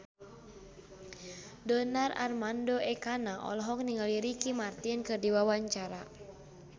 Donar Armando Ekana olohok ningali Ricky Martin keur diwawancara